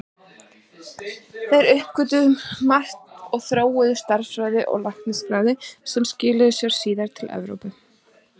Þeir uppgötvuðu margt og þróuðu stærðfræði og læknisfræði sem skilaði sér síðar til Evrópu.